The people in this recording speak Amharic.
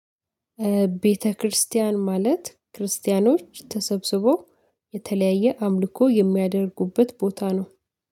ቤተክርስቲያን ማለት ክርስቲያኖች ተሰብስበው የተለያየ አምልኮ የሚያደርጉበት ቦታ ነው።